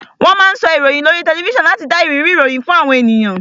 Wón máa ń sọ ìròyìn ní oríi tẹlifísàn láti dá ìrírí ìròyìn fún àwọn ènìyàn